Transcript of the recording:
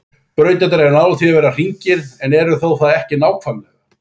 Brautirnar eru nálægt því að vera hringir en eru það þó ekki nákvæmlega.